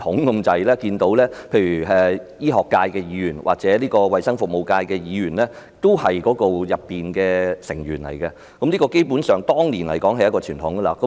我記得當年不論醫學界的議員或衞生服務界的議員均是醫管局大會成員，基本上，這是當年一個傳統。